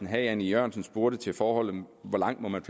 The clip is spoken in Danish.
herre jan e jørgensen spurgte til forholdet om hvor langt man